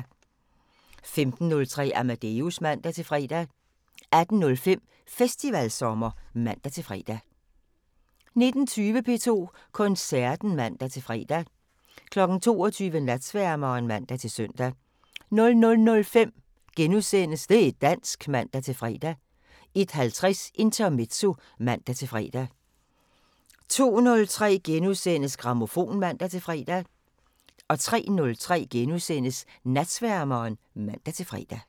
15:03: Amadeus (man-fre) 18:05: Festivalsommer (man-fre) 19:20: P2 Koncerten (man-fre) 22:00: Natsværmeren (man-søn) 00:05: Det' dansk *(man-fre) 01:50: Intermezzo (man-fre) 02:03: Grammofon *(man-fre) 03:03: Natsværmeren *(man-fre)